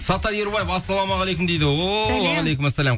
саттар ерубаева ассалаумағалейкум дейді